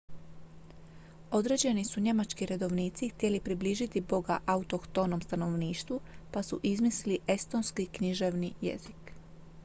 određeni su njemački redovnici htjeli približiti boga autohtonom stanovništvu pa su izmislili estonski književni jezik